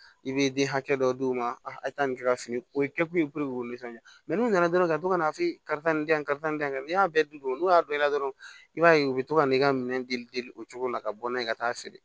I bɛ den hakɛ dɔ d'u ma a tɛ taa nin kɛ ka fu o ye kɛ kun ye nisɔndiya n'u nana dɔrɔn ka to ka na f'e ye karisa nin di yan karisa nin dan n'i y'a bɛɛ dun n'o y'a dɔ i la dɔrɔn i b'a ye u bɛ to ka ne ka minɛn deli o cogo la ka bɔ n'a ye ka taa feere